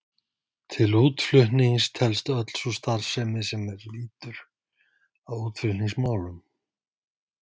Til útflutnings telst öll sú starfsemi er lýtur að útflutningsmálum.